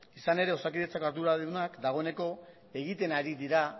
izan ere osakidetzako arduradunak dagoeneko egiten ari dira